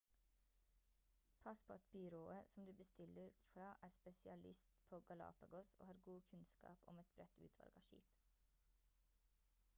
pass på at byrået som du bestiller fra er spesialist på galapagos og har god kunnskap om et bredt utvalg av skip